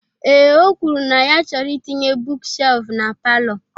Ee, o kwuru na ya chọrọ itinye buuk shelfụ na palọ.